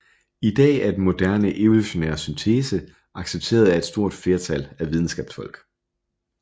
I dag er den moderne evolutionære syntese accepteret af et stort flertal af videnskabsfolk